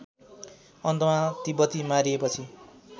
अन्तमा तिब्बती मारिएपछि